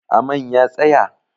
Amain ya tsaya?